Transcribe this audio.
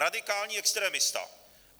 Radikální extremista.